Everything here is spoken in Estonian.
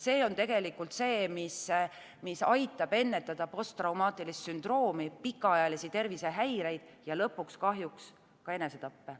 See on tegelikult see, mis aitab ennetada posttraumaatilist sündroomi, pikaajalisi tervisehäireid ja lõpuks ka enesetappe.